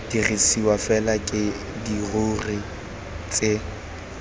dirisiwa fela ke dirori tse